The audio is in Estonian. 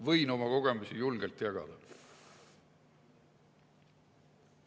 Võin oma kogemusi julgelt jagada!